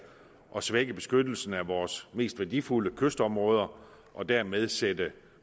at svække beskyttelsen af vores mest værdifulde kystområder og dermed sætte